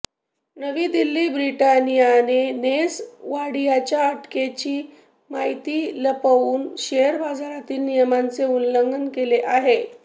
नवी दिल्ली ब्रिटानियाने नेस वाडियाच्या अटकेची माहिती लपवून शेअर बाजारातील नियमांचे उल्लंघन केले आहे